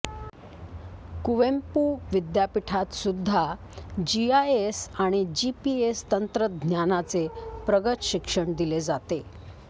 कुवेंपु विद्यापीठात सुद्धा जीआयएस आणि जीपीएस तंत्रज्ञानाचे प्रगत शिक्षण दिले जाते